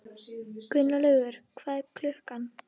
Gunnlaugur, hvað er klukkan?